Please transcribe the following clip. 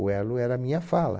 O elo era a minha fala.